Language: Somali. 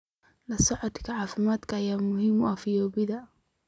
La socodka caafimaadka ayaa muhiim u ah fayoobida.